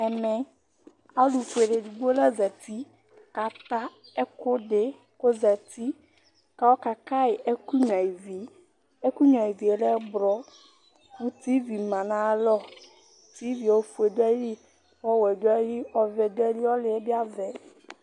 Ɛmɛ alʋfuele edigbi la zati kʋ ata ɛkʋdi kʋ ozati kʋ ɔkakayi ɛkʋnyua ivi ɛkʋ nyua ivi lɛ ɛblɔ, kʋ tivi manʋ ayʋ alɔ, tivie ofue dʋ ayili, ɔvɛ dʋ ayili, ɔlʋ yɛ bi avɛ